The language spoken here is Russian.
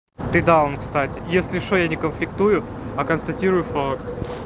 ты даун кстати если что я не конфликтую а констатирую факт